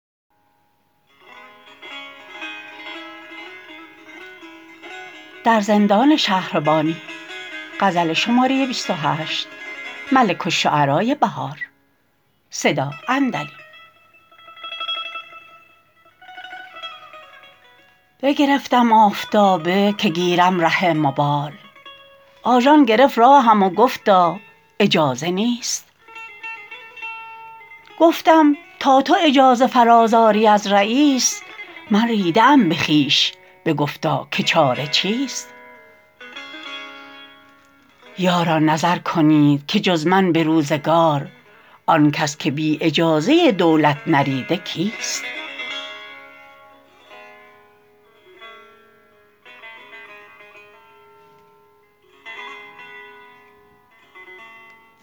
بگرفتم آفتابه که گیرم ره مبال آژان گرفت راهم و گفتا اجازه نیست گفتم تو تا اجازه فراز آری از رییس من ریده ام به خویش بگفتا که چاره چیست یاران نظر کنید که جز من به روزگار آن کس که بی اجازه دولت نریده کیست